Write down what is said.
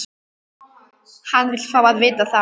Hann vill fá að vita það.